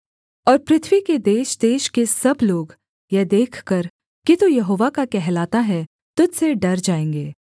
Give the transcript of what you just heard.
और पृथ्वी के देशदेश के सब लोग यह देखकर कि तू यहोवा का कहलाता है तुझ से डर जाएँगे